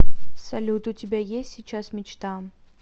салют у тебя есть сейчас мечта